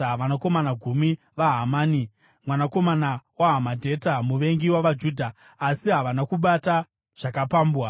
vanakomana gumi vaHamani, mwanakomana waHamedhata, muvengi wavaJudha. Asi havana kubata zvakapambwa.